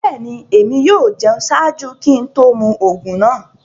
Bẹ́ẹ̀ni, ẹ̀mi yóò jẹun ṣáàjú kí n tó mú oogun naa.